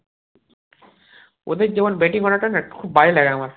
ওদের যেমন batting order টা না খুব বাজে লাগে আমার